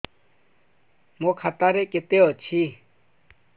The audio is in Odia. ମୋ ଖାତା ରେ କେତେ ଅଛି